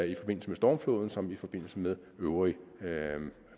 i forbindelse med stormfloden som i forbindelse med øvrig